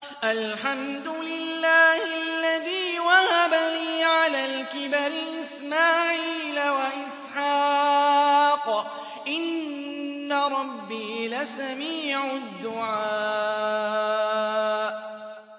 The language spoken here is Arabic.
الْحَمْدُ لِلَّهِ الَّذِي وَهَبَ لِي عَلَى الْكِبَرِ إِسْمَاعِيلَ وَإِسْحَاقَ ۚ إِنَّ رَبِّي لَسَمِيعُ الدُّعَاءِ